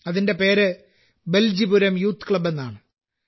അതിന്റെ പേര് Beljipuram youth club എന്നാണ്